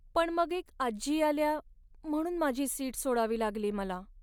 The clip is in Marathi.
पण मग एक आजी आल्या म्हणून माझी सीट सोडावी लागली मला.